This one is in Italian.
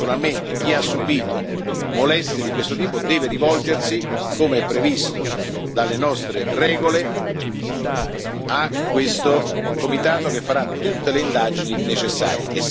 Naturalmente chi ha subito molestie di questo tipo deve rivolgersi, come è previsto dalle nostre regole, a questo comitato che farà tutte le indagini necessarie.